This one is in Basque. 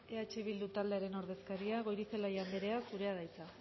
eh bildu taldearen ordezkaria goirizelaia anderea zurea da hitza